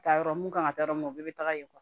Taa yɔrɔ mun kan ka taa yɔrɔ min na o bɛɛ bɛ taga yen